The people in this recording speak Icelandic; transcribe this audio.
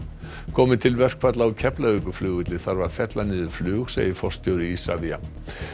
komi til verkfalla á Keflavíkurflugvelli þarf að fella niður flug segir forstjóri Isavia